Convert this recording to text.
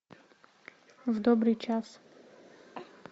в добрый час